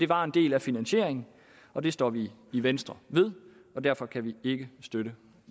var en del af finansieringen og det står vi i venstre ved derfor kan vi ikke støtte